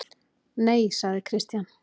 Nei, sagði Christian.